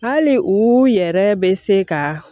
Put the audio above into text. Hali u yɛrɛ bɛ se ka